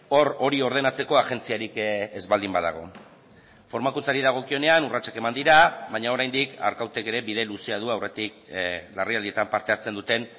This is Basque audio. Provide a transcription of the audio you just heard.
hor hori ordenatzeko agentziarik ez baldin badago formakuntzari dagokionean urratsak eman dira baina oraindik arkautek ere bide luzea du aurretik larrialdietan parte hartzen duten